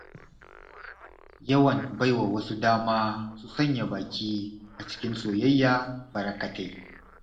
Yawan baiwa wasu dama su sanya baki a cikin soyayya barkatai.